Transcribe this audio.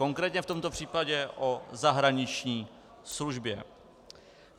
Konkrétně v tomto případě o zahraniční službě.